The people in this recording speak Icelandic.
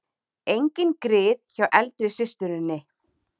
Engin grið hjá eldri systurinni